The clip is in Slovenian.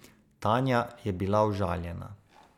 Tanja je bila užaljena.